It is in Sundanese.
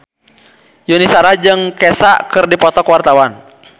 Yuni Shara jeung Kesha keur dipoto ku wartawan